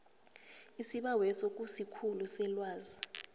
isibaweso kusikhulu selwazi